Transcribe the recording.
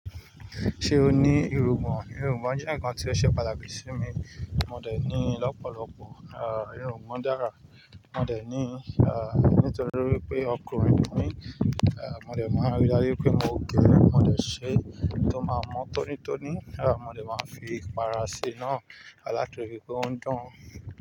Ṣé o ní irungbọ̀n? Irungbọ̀n jẹ́ ǹkan tí ó ṣe pàtàkì sí mi. Mó dẹ̀ ní lọ́pọ̀lọpọ̀, irungbọ̀n dára. Mó dẹ̀ ní ah nítorí wipé ọkùnrin ni mí, ah mó dẹ̀ máa rí dájú pé mó gẹ, mó dẹ̀ ṣẹ tó má mọ tónítóní, ah mó dẹ̀ máa fi ipara ṣi náa, a látirí pé ò n dan-